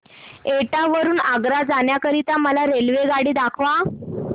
एटा वरून आग्रा जाण्या करीता मला रेल्वेगाडी दाखवा